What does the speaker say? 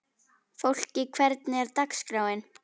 Fólki, hvernig er dagskráin?